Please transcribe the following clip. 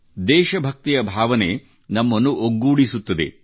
ದೇಶಭಕ್ತಿಯ ಭಾವನೆ ನಮ್ಮನ್ನು ಒಗ್ಗೂಡಿಸುತ್ತದೆ